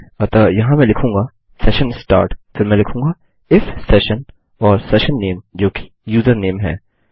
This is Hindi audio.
अतः यहाँ मैं लिखूँगा सेशन स्टार्ट फिर मैं लिखूँगा इफ सेशन और सेशन नेम जो कि यूजरनेम है